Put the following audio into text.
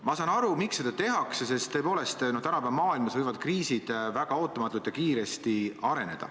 Ma saan aru, miks seda tehakse, sest tõepoolest tänapäeva maailmas võivad kriisid väga ootamatult ja kiiresti areneda.